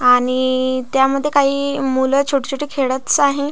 आणि त्या मध्ये काही मूल छोटे छोटे खेळतस आहे.